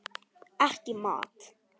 Ekki í mat.